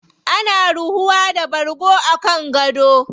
Ana ruhuwa da bargo a kan gado.